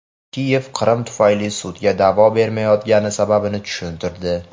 Kiyev Qrim tufayli sudga da’vo bermayotgani sababini tushuntirdi.